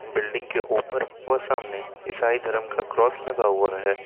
Building के ऊपर व सामने ईसाई धर्म का क्रॉस लगा हुआ हैं।